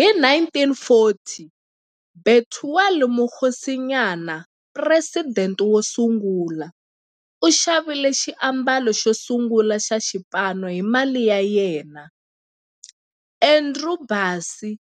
Hi 1940, Bethuel Mokgosinyane, president wosungula, u xavile xiambalo xosungula xa xipano hi mali ya yena. Andrew Bassie,